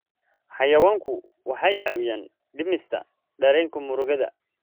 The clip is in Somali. Xayawaanku waxay caawiyaan dhimista dareenka murugada.